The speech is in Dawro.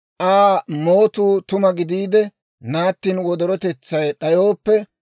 «Aa mootuu tuma gidiide, naattin wodorotetsay d'ayooppe,